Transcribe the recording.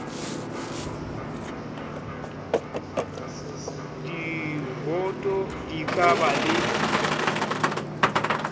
diwoto di ka ba le